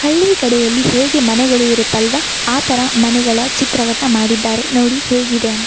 ಹಳ್ಳಿಕಡೆಯಲ್ಲಿ ಹೇಗೆ ಮನೆಗಳು ಇರುತ್ತಲ್ವಾ ಆತರ ಮನೆಗಳ ಚಿತ್ರವನ್ನ ಮಾಡಿದ್ದಾರೆ ನೋಡಿ ಹೇಗಿದೆ ಅಂ --